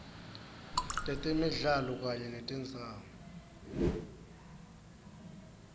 tetemidlalo kanye netindzawo